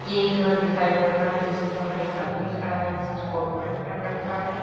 एक घर दिखाई पड़ रहा है जिसके बाहर एक आदमी खड़ा है जिसने कोट पैंट पहन रखा है।